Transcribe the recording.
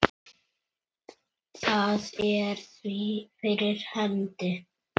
Það er því fyrir hendi.